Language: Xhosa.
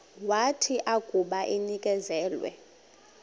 wathi akuba enikezelwe